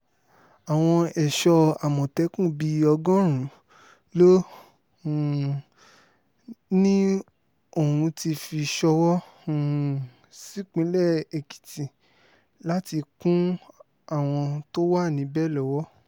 àwọn ẹ̀ṣọ́ àmọ̀tẹ́kùn bíi ọgọ́rùn-ún ló um ní òún ti fi ṣọwọ́ um sípínlẹ̀ èkìtì láti kún àwọn tó wà níbẹ̀ lọ́wọ́